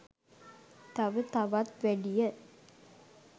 තව තවත් වැඩිය.